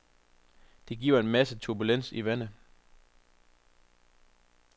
Det giver en masse turbulens i vandet.